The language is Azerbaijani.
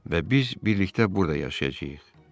Və biz birlikdə burda yaşayacağıq.